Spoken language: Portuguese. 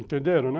Entenderam, né?